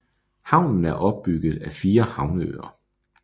Havnen er opbygget af fire havneøer